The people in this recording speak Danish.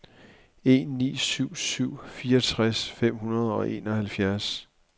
en ni syv syv fireogtres fem hundrede og enoghalvfjerds